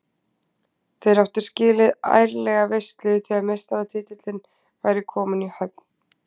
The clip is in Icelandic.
Þeir áttu skilið ærlega veislu þegar meistaratitillinn væri kominn í höfn.